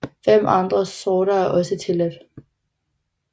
Fem andre sorter er også tilladt